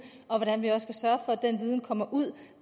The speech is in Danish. og hvordan vi også at den viden kommer ud